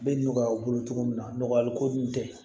Bɛ nɔgɔya u bolo cogo min na nɔgɔyali ko ninnu tɛ